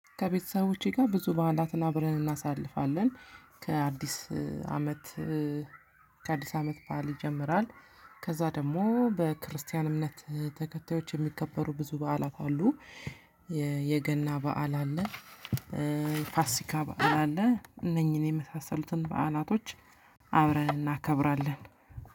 ከቤተሰቦቼ ጋር ብዙ ባእላትን አብረን እናሳልፋለን። ከአዲስ አመት። ከአዲስ አመት በዓል ይጀምራል። ከዛ ደግሞ በክርስቲያን እምነት ተከታዮች የሚከበሩ ብዙ በዓላት አሉ። የገና በዓል አለ። ፋሲካ በዓል አለ እነኚህን የመሳሰሉትን በዓላቶች። አብረን እናከብራለን።